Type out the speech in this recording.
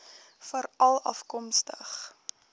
veralafkomstig